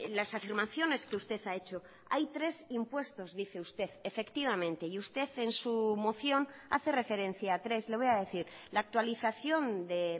las afirmaciones que usted ha hecho hay tres impuestos dice usted efectivamente y usted en su moción hace referencia a tres le voy a decir la actualización de